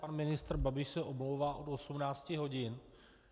Pan ministr Babiš se omlouvá od 18 hodin.